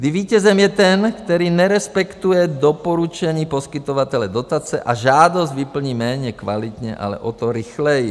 - Kdy vítězem je ten, který nerespektuje doporučení poskytovatele dotace a žádost vyplní méně kvalitně, ale o to rychleji.